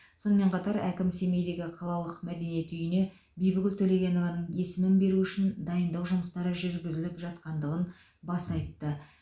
сонымен қатар әкім семейдегі қалалық мәдениет үйіне бибігүл төлегенованың есімін беру үшін дайындық жұмыстары жүргізіліп жатқандығын баса айтты